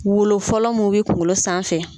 Wolo fɔlɔ mun be kunkolo sanfɛ